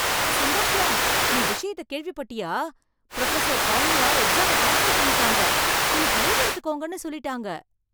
சுந்தர்ஷாம், நீ விஷயத்தை கேள்விப்பட்டியா? ப்ரொஃபசர் சௌமியா எக்ஸாம கேன்சல் பண்ணிட்டாங்க, இன்னிக்கு லீவ் எடுத்துக்கோங்கன்னு சொல்லிட்டாங்க.